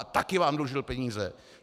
A také vám dlužil peníze.